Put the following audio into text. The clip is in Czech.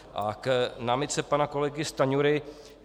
A k námitce pana kolegy Stanjury.